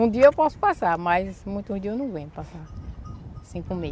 Um dia eu posso passar, mas muitos dias eu não aguento passar sem comer.